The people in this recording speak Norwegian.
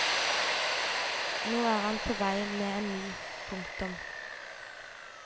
Nå er han på vei med en ny. punktum